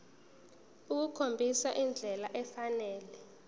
ukukhombisa indlela efanele